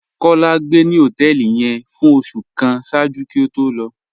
Kọ́lá gbé ni họtẹẹlì yẹn fún ọṣù kàn ṣáàjú kí ó tó lọ